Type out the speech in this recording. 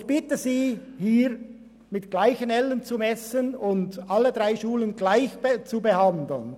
Ich bitte Sie, hier mit gleichen Ellen zu messen und alle drei Schulen gleich zu behandeln.